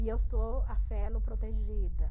E eu sou a protegida.